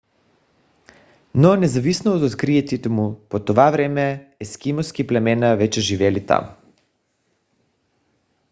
но независимо от откритието му по това време ескимоски племена вече живеели там